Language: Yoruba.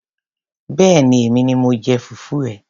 Béèni èmi ni mo jẹ fùfú ẹ.